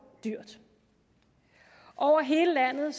dyrt over hele landet